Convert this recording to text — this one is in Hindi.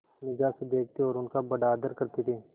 निगाह से देखते और उनका बड़ा आदर करते थे